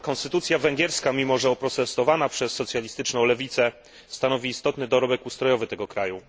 Konstytucja węgierska, mimo że oprotestowana przez socjalistyczną lewicę, stanowi istotny dorobek ustrojowy tego kraju.